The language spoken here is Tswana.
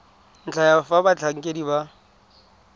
ntlha ya fa batlhankedi ba